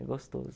É gostoso.